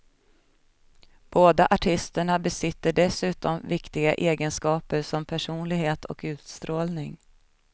Båda artisterna besitter dessutom viktiga egenskaper som personlighet och utstrålning.